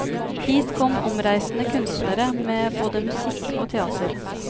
Hit kom omreisende kunstnere med både musikk og teater.